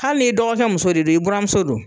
Hali n'i dɔgɔkɛ muso de don, i burankɛ don.